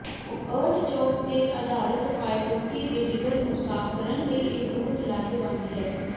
artichoke ਤੇ ਆਧਾਰਤ ਫਾਇਟੋੋਟੀ ਦੇ ਜਿਗਰ ਨੂੰ ਸਾਫ ਕਰਨ ਲਈ ਇਹ ਬਹੁਤ ਲਾਹੇਵੰਦ ਹੈ